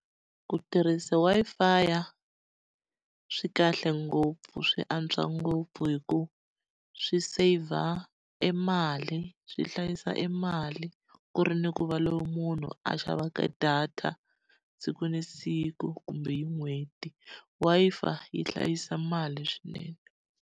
Ku tirhisa swi kahle ngopfu swi antswa ngopfu hikuva swi saver e mali swi hlayisa e mali, ku ri ni ku va loko munhu a xavaka data siku na siku kumbe hi n'hweti. Wi-Fi yi hlayisa mali swinene.